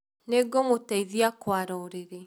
Nĩ ngũmũteithĩa kũara ũrĩrĩ